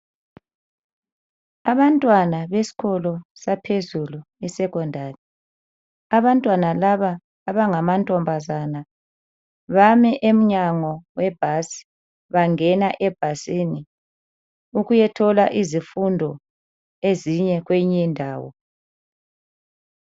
Abantwana beskolo saphezulu esecondary. Abantwana laba abangamantombazana bame emnyango webhasi, bangena ebhasini ukuyathola izfundo ezinye kweyinye indawo.